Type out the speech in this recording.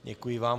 Děkuji vám.